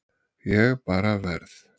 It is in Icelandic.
Ég bara verð.